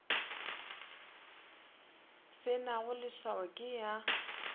se nago leswao ke ya